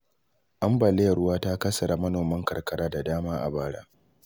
Ambaliyar ruwa ta kassara manoman karkara da dama a bara.